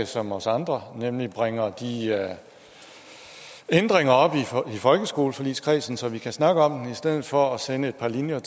som os andre nemlig bringer de ændringer op i folkeskoleforligskredsen så vi kan snakke om dem i stedet for at sende et par linjer